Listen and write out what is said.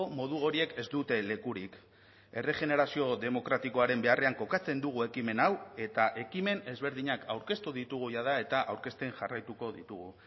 modu horiek ez dute lekurik erregenerazio demokratikoaren beharrean kokatzen dugu ekimen hau eta ekimen ezberdinak aurkeztu ditugu jada eta aurkezten jarraituko ditugu